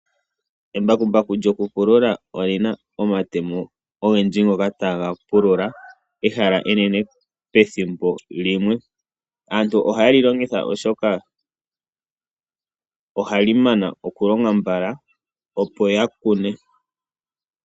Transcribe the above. Embakumbaku lyokupulula omatemo ogendji ngoka taga vulu okupulula ehala enene, pethimbo limwe. Aantu ohaye li longitha oshoka ohali mana okulonga mbala opo aantu yakune.